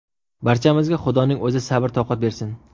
Barchamizga Xudoning o‘zi sabr-toqat bersin.